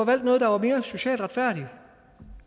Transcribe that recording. valgt noget der var mere socialt retfærdigt